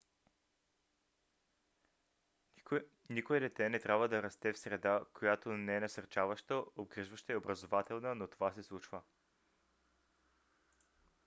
никое дете не трябва да расте в среда която не е насърчаваща обгрижваща и образователна но това се случва